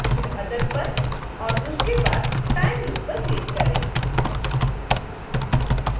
फिर other पर और उसके बाद time loop पर क्लिक करें